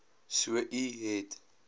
so u het